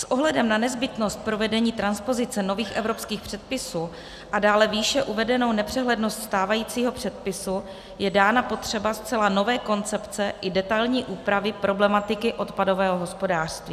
S ohledem na nezbytnost provedení transpozice nových evropských předpisů a dále výše uvedenou nepřehlednost stávajícího předpisu je dána potřeba zcela nové koncepce i detailní úpravy problematiky odpadového hospodářství.